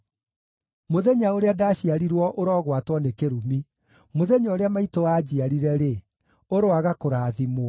Mũthenya ũrĩa ndaciarirwo ũrogwatwo nĩ kĩrumi! Mũthenya ũrĩa maitũ aanjiarire-rĩ, ũroaga kũrathimwo!